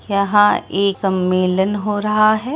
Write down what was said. यहाँ एक मेलन हो रहा है।